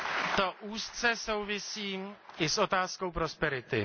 To úzce souvisí i s otázkou prosperity.